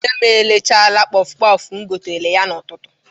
Nne m erechaala kpọfụ kpọfụ m gotere ya n'ụtụtụ.